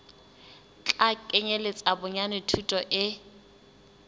tla kenyeletsa bonyane thuto e